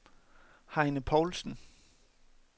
Heine Poulsen